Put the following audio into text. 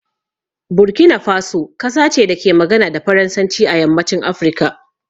Burkina Faso kasa ce da ke magana da Faransanci a yammacin Afirka.